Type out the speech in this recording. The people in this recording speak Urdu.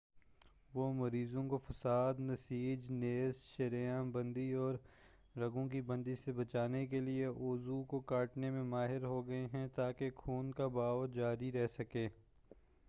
وہ مریضوں کو فساد نسیج نیز شریان بندی اور رگوں کی بندش سے بچانے کے لئے عضو کو کاٹنے میں ماہر ہو گئے ہیں تاکہ خون کا بہاؤ جاری رہ سکے